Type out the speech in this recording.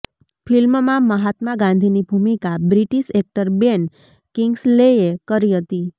ફિલ્મમાં મહાત્મા ગાંધીની ભૂમિકા બ્રિટિશ એક્ટર બેન કિંગ્સલેએ કરી હતી